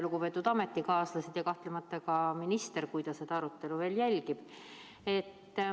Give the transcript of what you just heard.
Lugupeetud ametikaaslased, ja kahtlemata ka minister, kui ta seda arutelu veel jälgib!